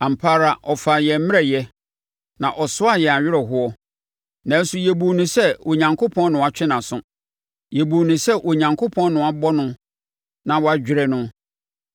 Ampa ara ɔfaa yɛn mmerɛyɛ, na ɔsoaa yɛn awerɛhoɔ, nanso yɛbuu no sɛ Onyankopɔn na watwe nʼaso. Yebuu no sɛ Onyankopɔn na wabɔ no na wadwerɛ no.